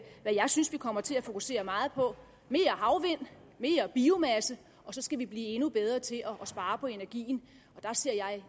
jeg synes vi kommer til at fokusere meget på mere havvind mere biomasse og så skal vi blive endnu bedre til at spare på energien og der ser jeg